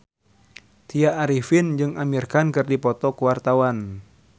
Tya Arifin jeung Amir Khan keur dipoto ku wartawan